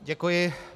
Děkuji.